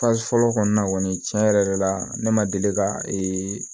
fɔlɔ kɔni na kɔni tiɲɛ yɛrɛ la ne ma deli ka ee